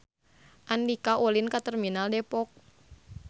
Andika ulin ka Terminal Depok